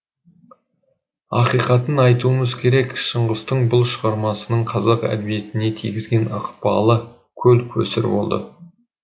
ақиқатын айтуымыз керек шыңғыстың бұл шығармасының қазақ әдебиетіне тигізген ықпалы көл көсір болды